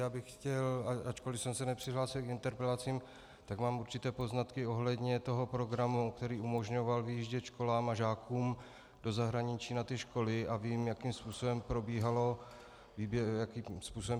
Já bych chtěl, ačkoliv jsem se nepřihlásil k interpelacím, tak mám určité poznatky ohledně toho programu, který umožňoval vyjíždět školám a žákům do zahraničí na ty školy, a vím, jakým způsobem probíhala výběrová řízení.